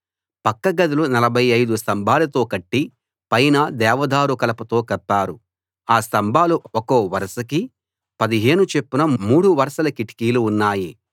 పక్కగదులు 45 స్తంభాలతో కట్టి పైన దేవదారు కలపతో కప్పారు ఆ స్తంభాలు ఒక్కో వరసకి 15 చొప్పున మూడు వరుసలు ఉన్నాయి